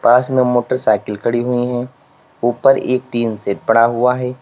पास में मोटरसाइकिल खड़ी हुई है ऊपर एक टीन सेट पड़ा हुआ है।